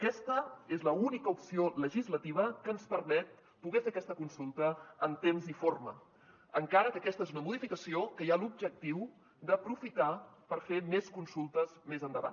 aquesta és l’única opció legislativa que ens permet poder fer aquesta consulta en temps i forma encara que aquesta és una modificació que hi ha l’objectiu d’aprofitar la per fer més consultes més endavant